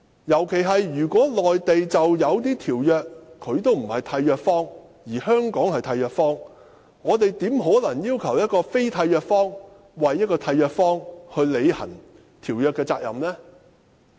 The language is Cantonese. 如果內地並非某些條約的締約方，而香港則是締約方，那麼我們怎可能要求非締約方替締約方履行條約的責任？